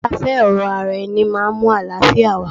Kí a fẹ́ ọ̀rẹ́ ara ẹni máa mú àlàáfíà wá.